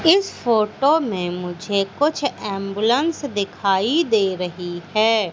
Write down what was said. इस फोटो में मुझे कुछ एंबुलेंस दिखाई दे रही है।